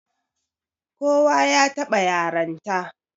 Kowa ya taɓa yaranta